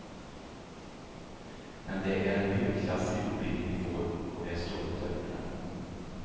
Men det är en högklassig utbildning vi får, och vi är stolta över den.